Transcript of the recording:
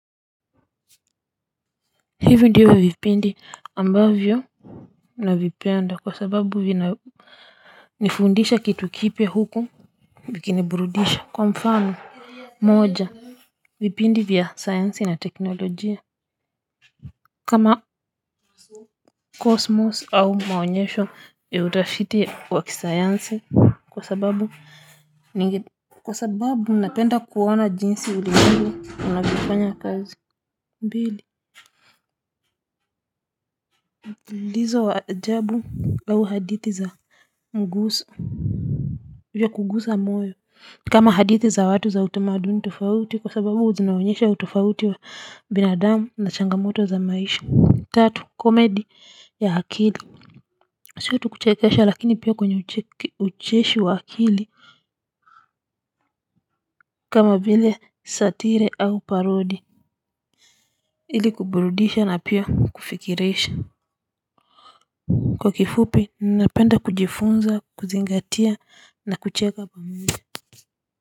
Hivyo ndivi vipindi ambavyo na vipenda kwa sababu vina nifundisha kitukipia huku vikiniburudisha kwa mfano moja vipindi vya sayansi na teknolojia kama cosmos ama maonyesho ya utafiti wa kisayansi kwa sababu ninge kwa sababu napenda kuwona jinsi ulimwengu unaviofanya kazi mbili lizo wa ajabu au hadithi za nguso vya kugusa moyo kama hadithi za watu za utamaduni tofauti kwa sababu zinaonyesha utofauti wa binadamu na changamoto za maisha tatu komedi ya akili sio tu kuchekesha lakini pia kwenye ucheshi wa akili kama vile satire au parody ili kuburudisha na pia kufikirisha kwa kifupi ninapenda kujifunza kuzingatia na kucheka pamoja.